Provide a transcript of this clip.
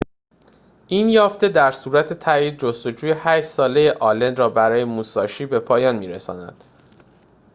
این یافته در صورت تأیید جستجوی هشت ساله آلن را برای موساشی به پایان می‌رساند